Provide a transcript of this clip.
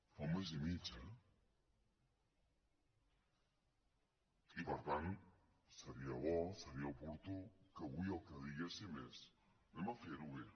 fa un mes i mig eh i per tant seria bo seria oportú que avui el que diguéssim és fem ho bé